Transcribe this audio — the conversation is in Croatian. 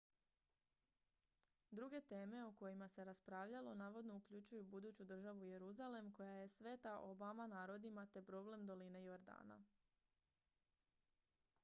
druge teme o kojima se raspravljalo navodno uključuju buduću državu jeruzalem koja je sveta obama narodima te problem doline jordana